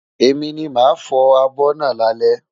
Èmi ni màá fọ abọ́ náà lálẹ́.